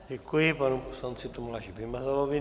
Děkuji panu poslanci Tomáši Vymazalovi.